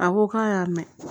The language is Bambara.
A ko k'a y'a mɛn